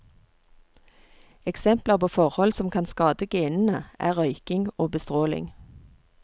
Eksempler på forhold som kan skade genene, er røyking og bestråling.